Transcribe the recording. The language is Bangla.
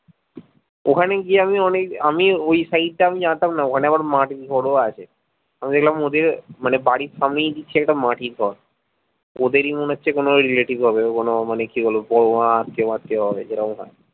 ওখানে গিয়ে আমি অনেক আমি ওই side টা জানতাম না ওখানে আবার মাঠির ঘরও আছে আমি দেখলাম ওদের মানে বাড়ির সামনে দেখছি একটা মাটির ঘর ওদেরি মনে হচ্ছে কোনো relative হবে কোনো মানে কি বলবো বড়মা আত্মীয় ফাট্টিও হবে